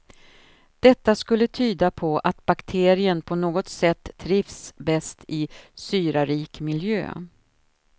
Detta skulle tyda på att bakterien på något sätt trivs bäst i syrarik miljö.